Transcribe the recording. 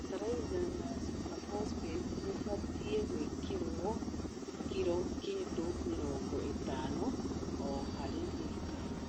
Bataraitha ya supabosbeti ithatũ ĩbztie gũĩkĩrwo kilo kĩndũ mĩrongo ĩtano o harĩ ĩka.